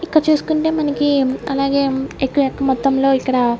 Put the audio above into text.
ఇక్క చూసుకుంటే మనకి అలాగే ఇక్క యొక్క మొత్తంలో ఇక్కడ--